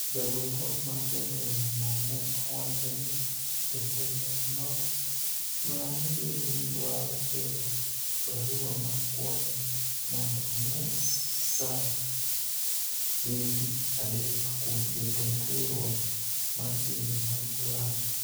Jagol twak mar jatelo no ne owacho ni jatelo no nyalo bedo ni dwaro tero . barua ma kuayo mondo omed saa chieng' tich adek kuom jatend riwruok mar pinje mag ulaya